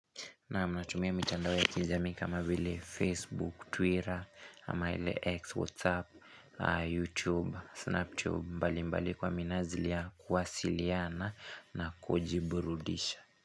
Naam natumia mitandao ya kijamii kama vile Facebook, Twitter ama ile X, Whatsapp, YouTube, Snapchat mbalimbali kwa minajili ya kuwasiliana na kujiburudisha.